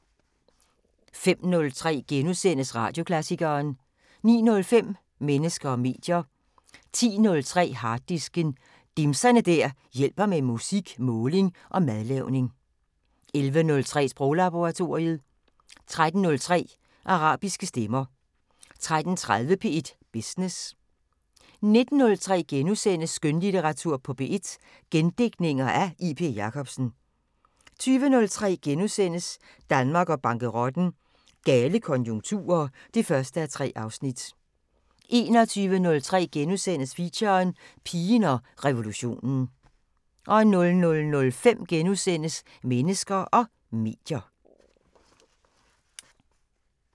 05:03: Radioklassikeren * 09:05: Mennesker og medier 10:03: Harddisken: Dimser der hjælper med musik, måling og madlavning 11:03: Sproglaboratoriet 13:03: Arabiske stemmer 13:30: P1 Business 19:03: Skønlitteratur på P1: Gendigtninger af J.P. Jacobsen * 20:03: Danmark og bankerotten: Gale konjunkturer (1:3)* 21:03: Feature: Pigen og revolutionen * 00:05: Mennesker og medier *